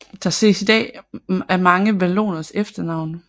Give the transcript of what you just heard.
Det ses i dag af mange valloners efternavne